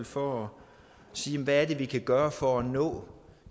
for at sige hvad er det vi kan gøre for at nå